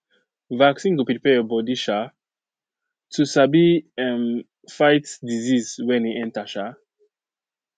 vaccine go prepare your body um to sabi um fight disease when e enter um